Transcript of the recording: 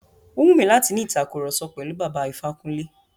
Ó wù mí láti ni ìtàkurọ̀sọ pẹ̀lú Bàbá Ifákúnlé.